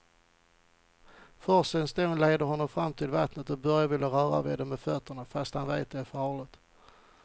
Forsens dån leder honom fram till vattnet och Börje vill röra vid det med fötterna, fast han vet att det är farligt.